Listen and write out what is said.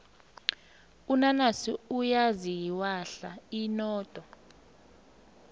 unanasi uyaziwahla inodo